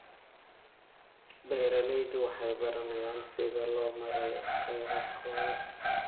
Beeraleydu waxay baranayaan sida loo maareeyo kheyraadkooda.